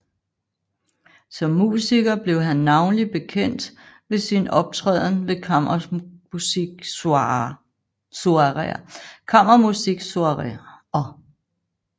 Som musiker blev han navnlig bekendt ved sin optræden ved kammermusiksoireer